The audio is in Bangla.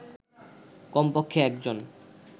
কমপক্ষে একজন